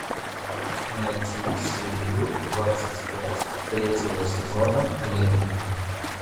найти серию двадцать пять третьего сезона древние